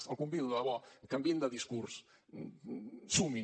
l’hi convido de debò canviïn de discurs sumin